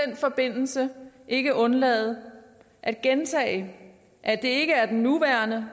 den forbindelse ikke undlade at gentage at det ikke er den nuværende